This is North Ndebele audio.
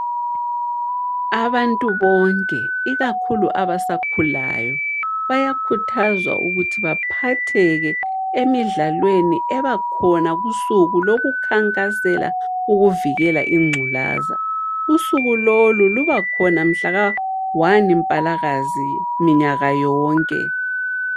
Abantu bonke ikakhulu abasakhulayo, bayakhuthazwa ukuthi baphatheke emidlalweni ebakhona kusuku lokukhankasela ukuvikela ingculaza. Usuku lolu lubakhona mhlaka 1Mpalakazi minyaka yonke.